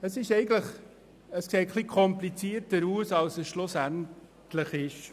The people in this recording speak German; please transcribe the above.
Es sieht etwas komplizierter aus, als es schlussendlich ist.